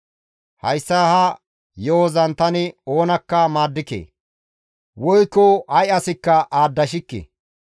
Hayssa ha yo7ozan tani oonakka maaddike; woykko ay asakka aadashikke.